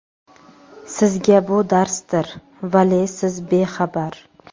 Sizga bu darsdir, vale siz bexabar.